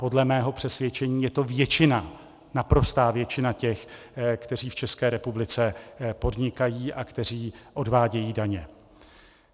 Podle mého přesvědčení je to většina, naprostá většina těch, kteří v České republice podnikají a kteří odvádějí daně.